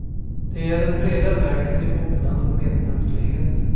Det är den breda vägen till mognad och medmänsklighet.